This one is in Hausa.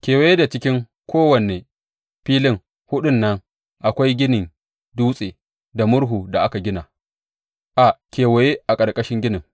Kewaye da cikin kowane filin huɗun nan akwai ginin dutse, da murhu da aka gina a kewaye a ƙarƙashin ginin.